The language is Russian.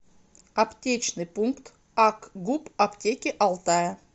аптечный пункт акгуп аптеки алтая